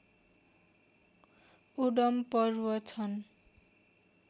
Odum पर्व छन्